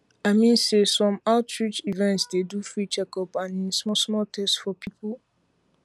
i mean say some outreach events um dey um do free checkup and em small small test for people